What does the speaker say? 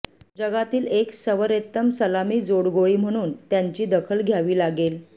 जगातील एक सवरेत्तम सलामी जोडगोळी म्हणून त्यांची दखल घ्यावी लागेल